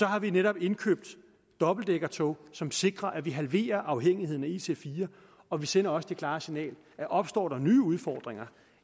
har vi netop indkøbt dobbeltdækkertog som sikrer at vi halverer afhængigheden af ic4 og vi sender også det klare signal at opstår der nye udfordringer